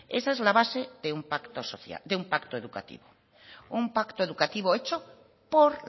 esa es la base de una pacto educativo un pacto educativo hecho por